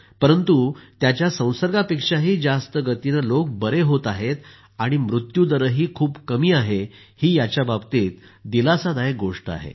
परंतु त्याच्या संसर्गापेक्षाही जास्त गतिनं लोक बरे होत आहेत आणि मृत्युदरही खूप कमी आहे ही याच्याबाबतीत दिलासादायक गोष्ट आहे